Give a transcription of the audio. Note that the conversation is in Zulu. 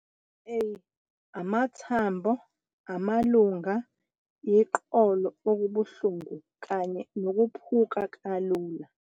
A - Amathambo, amalunga, iqolo okubuhlungu kanye nokuphuka kalula.